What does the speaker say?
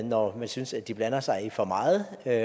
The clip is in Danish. når man synes at de blander sig i for meget og at